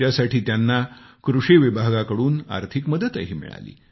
त्यासाठी त्यांना कृषी विभागाकडून आर्थिक मदतही मिळाली